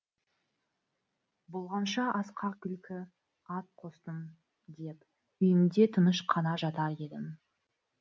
болғанша асқа күлкі ат қостым деп үйімде тыныш қана жатар едім